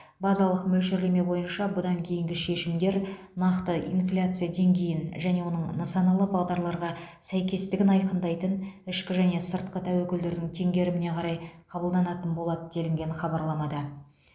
базалық мөлшерлеме бойынша бұдан кейінгі шешімдер нақты инфляция деңгейін және оның нысаналы бағдарларға сәйкестігін айқындайтын ішкі және сыртқы тәуекелдердің теңгеріміне қарай қабылданатын болады делінген хабарламада